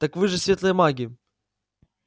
так вы же светлые маги